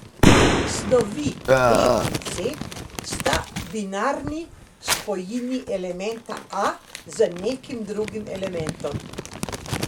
Snovi B in C sta binarni spojini elementa A z nekim drugim elementom.